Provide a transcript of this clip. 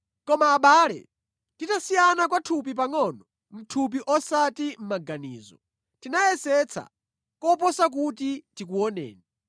Koma abale, titasiyana kwa nthawi pangʼono (mʼthupi osati mʼmaganizo), tinayesetsa koposa kuti tikuoneni.